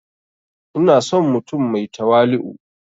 Ina son mutum mai tawali'u